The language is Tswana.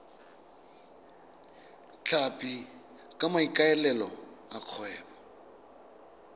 tlhapi ka maikaelelo a kgwebo